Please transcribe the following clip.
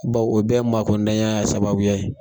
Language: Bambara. Bawo o bɛɛ maakodanya ye sababuya ye.